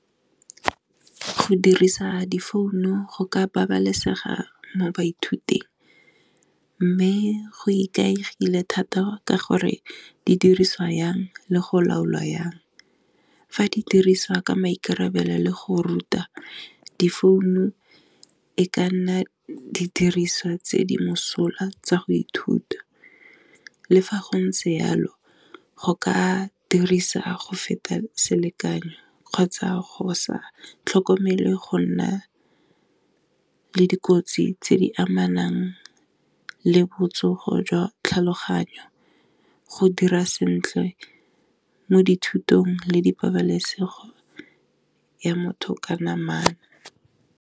Go dirisa di founu go ka ba balesegang m baithuting, mme go ikaegile gore di dirisiwa jang le go lwaolwa jang, fa di diriswa ka maikarabelo le go ruta di founo e ka nna di diriswa tse di mosola tsa go ithuta, le fa gontse jalo go ka dirisa go feta selekano, kgotsa sa tlhokomele gonna le di kgotsi tse di amanang le botsogo jwa tlhologanyo, go dira sentle mo dithutong le di pabalesego ya motho ka namana.